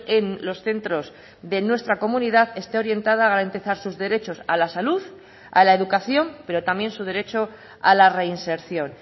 en los centros de nuestra comunidad este orientada a garantizar sus derechos a la salud a la educación pero también su derecho a la reinserción